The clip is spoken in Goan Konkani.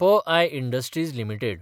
P I industries limited